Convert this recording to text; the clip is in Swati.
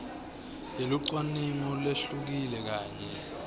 yelucwaningo lehlukile kanye